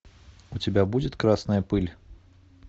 у тебя будет красная пыль